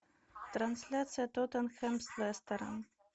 трансляция тоттенхэм с лестером